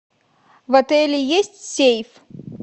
в отеле есть сейф